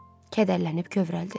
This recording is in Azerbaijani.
Kədərlənib kövrəldi.